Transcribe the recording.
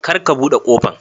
kar ka bude kofan.